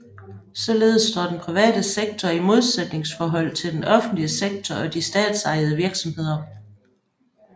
Således står den private sektor i modsætningsforhold til den offentlige sektor og de statsejede virksomheder